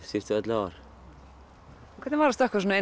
síðustu ellefu ár hvernig var að stökkva svona